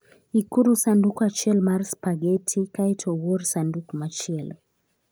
Ikuru sanduk achiel mar spaghetti kae to uor sanduk machielo.